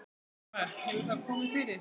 Ingimar: Hefur það komið fyrir?